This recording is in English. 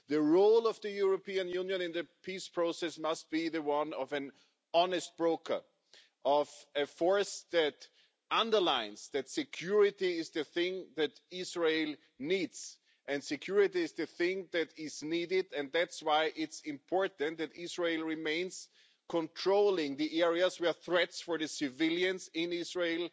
The role of the European Union in the peace process must be the one of an honest broker, of a force that underlines that security is the thing that Israel needs. Security is the thing that is needed and that's why it is important that Israel remains in control of the areas where threats for the civilians in Israel